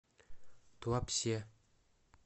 туапсе